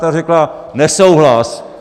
Ta řekla - nesouhlas.